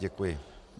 Děkuji.